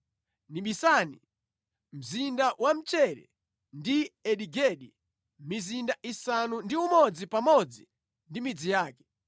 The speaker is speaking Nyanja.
Nibisani, Mzinda wa Mchere ndi Eni Gedi, mizinda isanu ndi umodzi pamodzi ndi midzi yake.